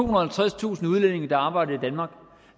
og halvtredstusind udlændinge der arbejder i danmark